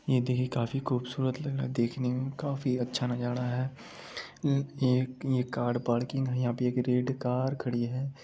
ये देखिए काफी खूबसूरत लग रहा देखने में काफी अच्छा नजारा है ये-ये कार पार्किंग है यहा पे एक रेड कार खड़ी है।